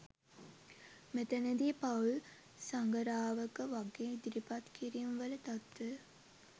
මෙතැන දී පවුලේ සඟරාවක වගේ ඉදිරිපත් කිරීම් වල තත්වය